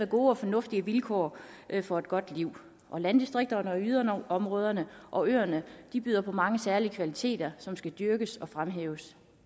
gode og fornuftige vilkår for et godt liv landdistrikterne yderområderne og øerne byder på mange særlige kvaliteter som skal dyrkes og fremhæves